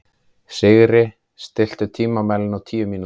Sigri, stilltu tímamælinn á tíu mínútur.